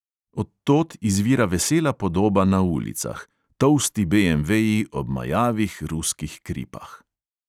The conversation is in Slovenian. Od tod izvira vesela podoba na ulicah: tolsti beemveji ob majavih ruskih kripah.